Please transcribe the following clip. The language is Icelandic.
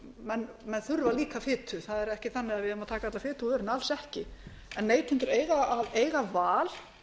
menn þurfa líka fitu það er ekkert annað ef ég má taka alla fitu úr vörunni alls ekki en neytendur eiga að eiga val